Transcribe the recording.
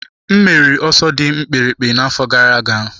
M meriri n'ọsọ dị mkpirikpi n'afọ gara aga.